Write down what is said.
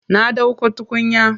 Na ɗauko tukunya.